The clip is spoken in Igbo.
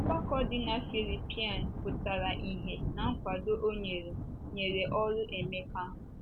Ọgbakọ dị na Filipaị pụtara ìhè ná nkwado o nyere nyere oru Emeka.